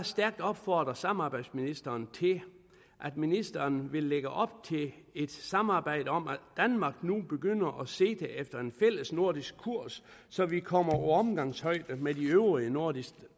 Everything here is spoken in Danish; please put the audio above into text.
stærkt opfordre samarbejdsministeren til at ministeren vil lægge op til et samarbejde om at danmark nu begynder at sigte efter en fælles nordisk kurs så vi kommer på omgangshøjde med de øvrige nordiske